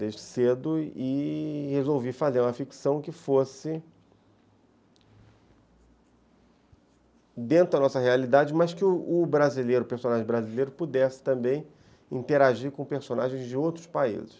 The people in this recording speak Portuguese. Desde cedo e resolvi fazer uma ficção que fosse dentro da nossa realidade, mas que o personagem brasileiro pudesse também interagir com personagens de outros países.